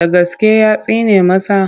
Da gaske ya tsine masa?